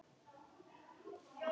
Þú flýgur í gegn núna!